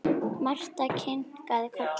Marta kinkaði kolli.